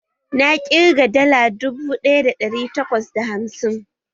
Na ƙirga dala dubu ɗaya da ɗari takwas da hamsin